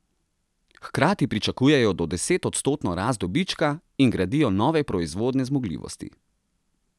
Hkrati pričakujejo do desetodstotno rast dobička in gradijo nove proizvodne zmogljivosti.